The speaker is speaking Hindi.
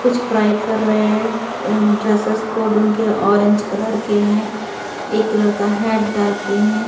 कुछ फ्राई कर रहे हैं ड्रेसेस कोड उनके ऑरेंज कलर के हैं एक कलर का हैट डाल के हैं।